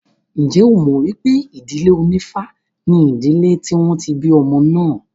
Ǹjẹ́ ẹ mọ̀ pé ìdílé onífá ni ìdílé tí wọ́n ti bí ọmọ náà?